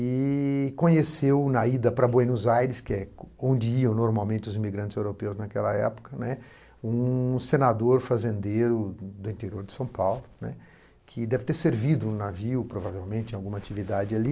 e conheceu na ida para Buenos Aires, que é onde iam normalmente os imigrantes europeus naquela época, né, um senador fazendeiro do interior de São Paulo, né, que deve ter servido no navio, provavelmente, em alguma atividade ali.